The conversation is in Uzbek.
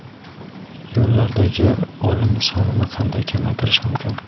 Yo‘llardagi o‘lim sonini qanday kamaytirish mumkin?.